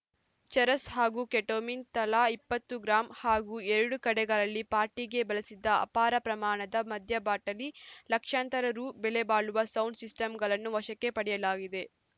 ಚರಸ್‌ ಹಾಗೂ ಕೆಟೋಮಿನ್‌ ತಲಾ ಇಪ್ಪತ್ತು ಗ್ರಾಂ ಹಾಗೂ ಎರಡು ಕಡೆಗಳಲ್ಲಿ ಪಾರ್ಟಿಗೆ ಬಳಸಿದ್ದ ಅಪಾರ ಪ್ರಮಾಣದ ಮದ್ಯ ಬಾಟಲಿ ಲಕ್ಷಾಂತರ ರು ಬೆಲೆಬಾಳುವ ಸೌಂಡ ಸಿಸ್ಟಮ್‌ಗಳನ್ನು ವಶಕ್ಕೆ ಪಡೆಯಲಾಗಿದೆ